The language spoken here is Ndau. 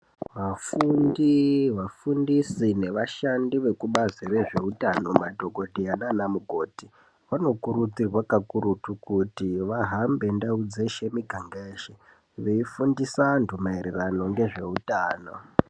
Vafundi vafundisi nevashandi vekubazi rezvehutano madhokoteya nana mukoti vano kurudzirwa kakurutu kuti vahambe ndau dzeshe miganga yese veifundisa antu maererano nezvehutano.